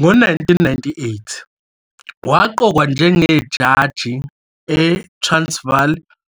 Ngo-1998, waqokwa njengejaji eTransvaal